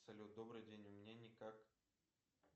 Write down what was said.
салют добрый день у меня никак